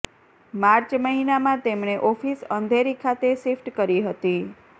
March મહિનામાં તેમણે office Andheri ખાતે શિફ્ટ કરી હતી